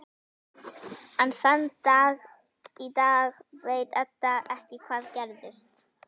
Enn þann dag í dag veit Edda ekki hvað gerðist.